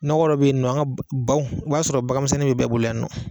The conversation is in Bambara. Nɔgɔ dɔ bɛyinɔ an ka baw baw i b'a sɔrɔ baganmisɛnnin bɛ bɛɛ bolo yannɔ.